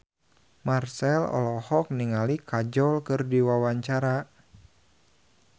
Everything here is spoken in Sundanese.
Marchell olohok ningali Kajol keur diwawancara